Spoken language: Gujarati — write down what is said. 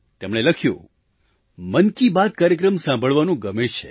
તેમણે લખ્યું મન કી બાત કાર્યક્રમ સાંભળવાનું ગમે છે